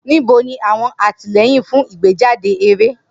Nibo ni awọn atilẹyin fun igbejade eré?